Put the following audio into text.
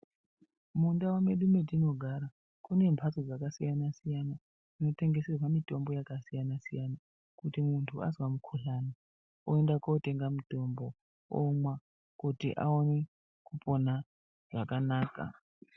Mundau medu mwatinogara kune mhatso dzakasiyana-siyana, dzinotengeserwa mitombo yakasiyana-siyana. Kuti muntu azwa mukuhlani oenda kotenga mutombo omwa kuti aone kupona zvakanaka.